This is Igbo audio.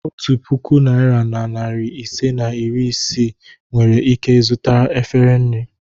Otu puku naịra na narị ise na iri isii nwere ike zụta efere nri.